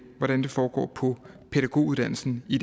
hvordan det foregår på pædagoguddannelsen i